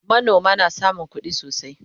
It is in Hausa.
manoma na samun kuɗi sosai